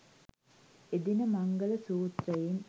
එදින මංගල සූත්‍රයෙන්